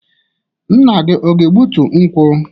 Nna gi ọ ga-egbutu nkwu?